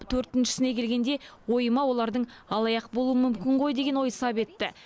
төртіншісіне келгенде ойыма олардың алаяқ болуы мүмкін ғой деген ой сап етті